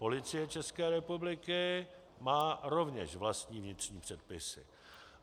Policie České republiky má rovněž vlastní vnitřní předpisy.